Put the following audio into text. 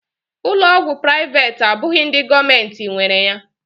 Ụlọ ọgwụ privati abụghị ndị gọọmenti nwere ya